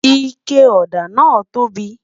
ike òdà nà tobi